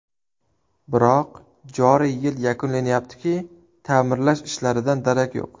Biroq, joriy yil yakunlanayapti-ki, ta’mirlash ishlaridan darak yo‘q.